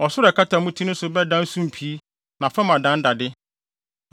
Ɔsoro a ɛkata mo ti so no bɛdan sumpii na fam adan dade.